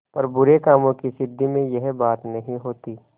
पर बुरे कामों की सिद्धि में यह बात नहीं होती